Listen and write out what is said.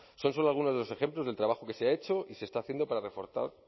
son solo algunos de los ejemplos del trabajo que se ha hecho y se está haciendo para reforzar